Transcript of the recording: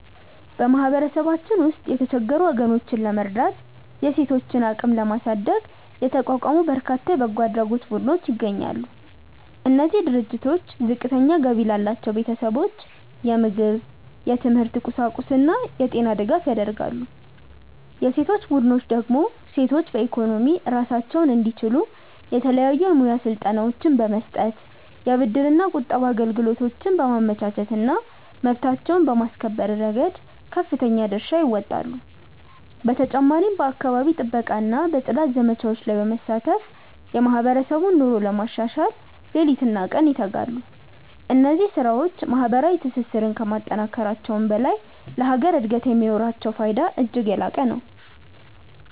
በማህበረሰባችን ውስጥ የተቸገሩ ወገኖችን ለመርዳትና የሴቶችን አቅም ለማሳደግ የተቋቋሙ በርካታ የበጎ አድራጎት ቡድኖች ይገኛሉ። እነዚህ ድርጅቶች ዝቅተኛ ገቢ ላላቸው ቤተሰቦች የምግብ፣ የትምህርት ቁሳቁስና የጤና ድጋፍ ያደርጋሉ። የሴቶች ቡድኖች ደግሞ ሴቶች በኢኮኖሚ ራሳቸውን እንዲችሉ የተለያዩ የሙያ ስልጠናዎችን በመስጠት፣ የብድርና ቁጠባ አገልግሎቶችን በማመቻቸትና መብታቸውን በማስከበር ረገድ ከፍተኛ ድርሻ ይወጣሉ። በተጨማሪም በአካባቢ ጥበቃና በጽዳት ዘመቻዎች ላይ በመሳተፍ የማህበረሰቡን ኑሮ ለማሻሻል ሌሊትና ቀን ይተጋሉ። እነዚህ ስራዎች ማህበራዊ ትስስርን ከማጠናከራቸውም በላይ ለሀገር እድገት የሚኖራቸው ፋይዳ እጅግ የላቀ ነው።